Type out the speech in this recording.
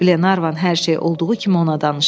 Qlervan hər şey olduğu kimi ona danışdı.